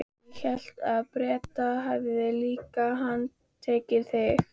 Ég hélt að Bretar hefðu líka handtekið þig?